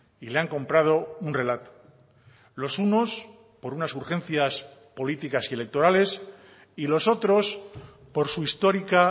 y le han comprado un relato los unos por unas urgencias políticas y electorales y los otros por su histórica